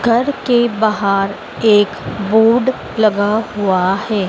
घर के बाहर एक बोर्ड लगा हुआ है।